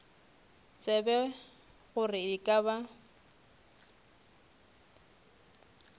tsebe gore e ka ba